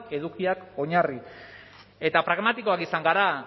edukiak oinarri eta pragmatikoak izan gara